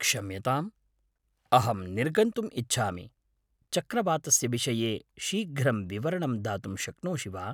क्षम्यताम्, अहं निर्गन्तुम् इच्छामि, चक्रवातस्य विषये शीघ्रं विवरणं दातुं शक्नोषि वा?